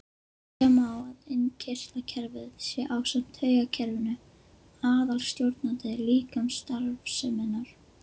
Segja má að innkirtlakerfið sé ásamt taugakerfinu aðalstjórnandi líkamsstarfseminnar.